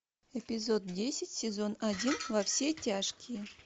эпизод десять сезон один во все тяжкие